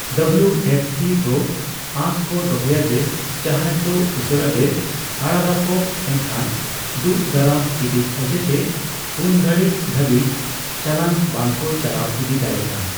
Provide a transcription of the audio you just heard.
W F P ᱫᱚ ᱟᱸᱥ ᱠᱚ ᱫᱚᱦᱚᱭᱟ ᱡᱮ ᱡᱟᱦᱟᱡᱽ ᱫᱚ ᱩᱥᱟᱹᱨᱟ ᱜᱮ ᱟᱲᱟᱜᱟᱠᱚ, ᱮᱱᱠᱷᱟᱱ ᱫᱳᱜ ᱫᱟᱨᱟᱢ ᱦᱤᱸᱫᱤᱡ ᱚᱡᱮ ᱛᱮ ᱩᱱᱜᱷᱟᱲᱤᱡ ᱫᱷᱟᱵᱤᱡ ᱪᱟᱞᱟᱱ ᱵᱟᱝ ᱠᱚ ᱪᱟᱞᱟᱣ ᱤᱫᱤ ᱫᱟᱲᱮᱭᱟᱜᱼᱟ ᱾